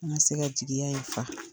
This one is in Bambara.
An' ŋa se ka jegiya in fa.